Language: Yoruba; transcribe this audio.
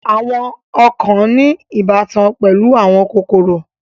Àwọn ọ̀kàn ní ìbátan pẹ̀lú àwọn kòkòrò.